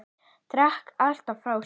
Drakk allt frá sér.